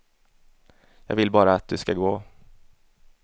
Jag vill bara att du ska gå.